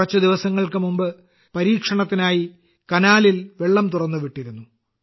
കുറച്ചു ദിവസങ്ങൾക്കുമുമ്പ് പരീക്ഷണത്തിനായി കനാലിൽ വെള്ളം തുറന്നുവിട്ടിരുന്നു